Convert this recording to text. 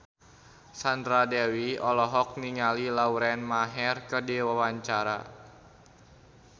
Sandra Dewi olohok ningali Lauren Maher keur diwawancara